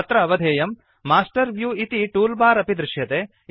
अत्र अवधेयम् master view इति टूल् बार् अपि दृश्यते